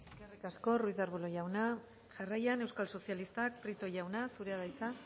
eskerrik asko ruiz de arbulo jauna jarraian euskal sozialistak prieto jauna zurea da hitza